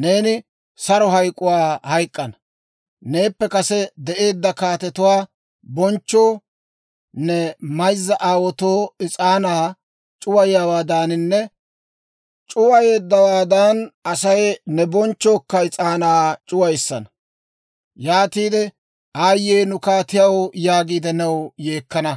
neeni saro hayk'k'uwaa hayk'k'ana. Neeppe kase de'eedda kaatetuwaa bonchchoo, ne mayzza aawaatoo is'aanaa c'uwayeeddawaadan, Asay ne bonchchookka is'aanaa c'uwissana. Yaatiide, Aayyee nu kaatiyaw yaagiide new yeekkana.